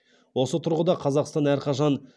осы тұрғыда қазақстан әрқашан